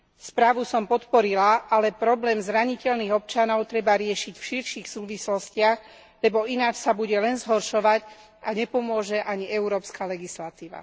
Správu som podporila, ale problém zraniteľných občanov treba riešiť v širších súvislostiach, lebo ináč sa bude len zhoršovať a nepomôže ani európska legislatíva.